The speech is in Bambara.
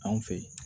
Anw fɛ yen